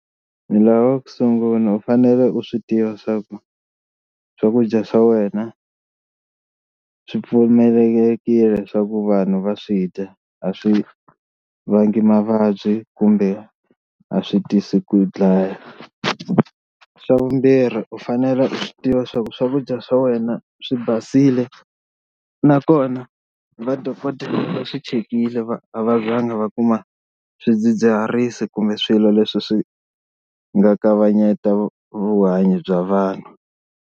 Ni lava ku sungula u fanele u swi tiva swa ku swakudya swa wena swi pfumelelekile leswaku vanhu va swi dya a swi vanga mavabyi kumbe a swi tisi ku yi dlaya, xa vumbirhi u fanele u swi tiva swa ku swakudya swa wena swi basile nakona va dokodela va swi chekile va a va zanga va kuma swidzidziharisi kumbe swilo leswi swi nga kavanyeta vuhanyo bya vanhu.